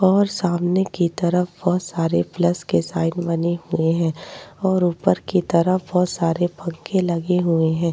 और सामने कि तरफ बोहोत सारे प्लस के साइन बने हुए हैं और ऊपर की तरफ बोहोत सारे पंखे लगे हुए हैं।